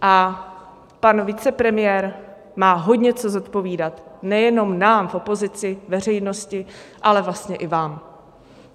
A pan vicepremiér má hodně co zodpovídat, nejenom nám v opozici, veřejnosti, ale vlastně i vám.